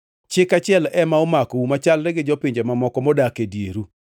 Chik achiel ema omakou machalre gi jopinje mamoko modak e dieru.’ ”